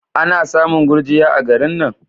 Ana samun gurjiya a garin nan?